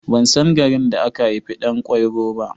Ban san garin da aka haifi Ɗan kwairo ba.